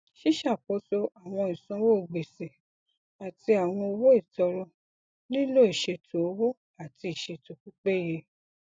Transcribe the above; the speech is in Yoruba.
ṣíṣakoso àwọn ìsanwó gbèsè àti àwọn owó ìtọrọ nílò ìṣètò owó àti ìṣètò pípéye